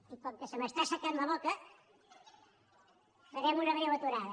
i com que se m’està assecant la boca farem una breu aturada